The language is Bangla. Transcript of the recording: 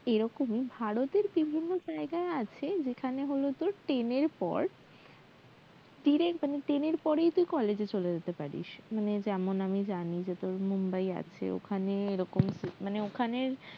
এরকমই ভারতের বিভিন্ন জায়গায় আছে যেখানে হল তোর ten এর পর direct মানে তুই ten এর পরেই তুই college এ চলে যেতে পারিস মানে যেমন আমি জানি যে তোর মুম্বাই আছে ওখানে এরকম মানে ওখানে